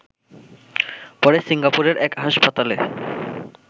পরে সিঙ্গাপুরের এক হাসপাতালে